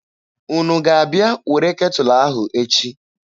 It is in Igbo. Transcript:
Unu ga-abịa were ketụlụ ahụ echi?